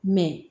Mɛ